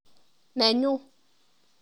Nenyuu.